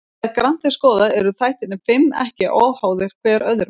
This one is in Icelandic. Þegar grannt er skoðað eru þættirnir fimm ekki óháðir hver öðrum.